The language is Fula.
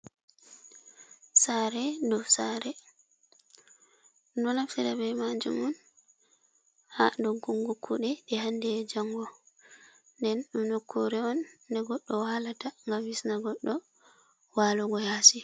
Sare dow sare, ɗum ɗo naftira be majum on ha doggungu kuɗe ɗe hande e jango nden ɗum nokkure on de goɗɗo walata ngam hisna goɗɗo walugo yasi.